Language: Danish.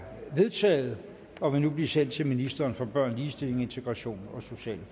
vedtaget og vil nu blive sendt til ministeren for børn ligestilling integration og sociale